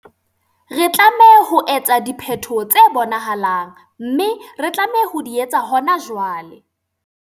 Re tlameha ho etsa diphetoho tse bonahalang, mme re tlameha ho di etsa hona jwale.